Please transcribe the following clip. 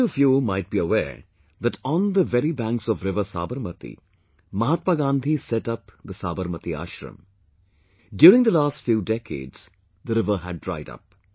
Many of you might be aware that on the very banks of river Sabarmati, Mahatma Gandhi set up the Sabarmati Ashram...during the last few decades, the river had dried up